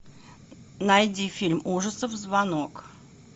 найди фильм ужасов звонок